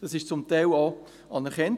Dies wurde zum Teil auch anerkannt.